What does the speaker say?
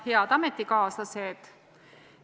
Head ametikaaslased!